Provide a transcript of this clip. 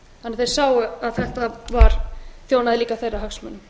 þeir sáu að þetta þjónaði líka þeirra hagsmunum